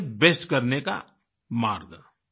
वास्ते में से बेस्ट करने का मार्ग